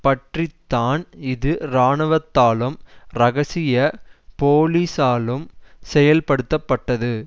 பற்றி தான் இது இராணுவத்தாலும் இரகசிய போலீசாலும் செயல்படுத்தப்பட்டது